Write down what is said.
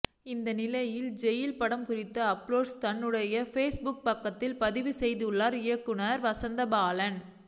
இந்நிலையில் ஜெயில் படம் குறித்த அப்டேட்ஸை தன்னுடைய ஃபேஸ்புக் பக்கத்தில் பதிவு செய்துள்ளார் இயக்குனர் வசந்தபாலன்